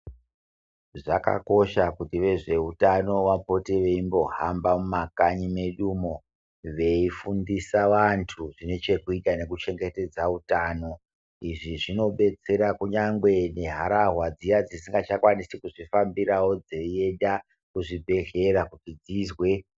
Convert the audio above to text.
Zvakakosha kuti vezveutano vapote veimbohamba mumakanyi mwedumo veifundisa vantu zvinechekuita nekichengetedza utano. Izvi zvinodetsera kunyangwe neharahwa dziyani dzisingachakwanisi kuzvifambirawo dzeyi enda kuzvibhehlera kuti dzizwe.